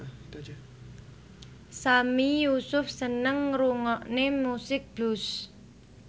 Sami Yusuf seneng ngrungokne musik blues